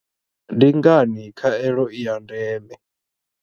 Ndi ngani khaelo i ya ndeme?